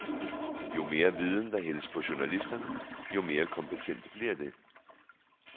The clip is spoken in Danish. Jo mere viden, der hældes på journalisterne, jo mere kompetente bliver de.